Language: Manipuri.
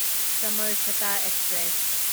ꯁꯃꯔꯁꯇ ꯑꯦꯛꯁꯄ꯭ꯔꯦꯁ